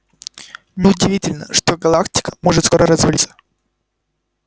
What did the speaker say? не удивительно что галактика может скоро развалиться